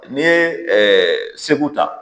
N'i ye Segu ta.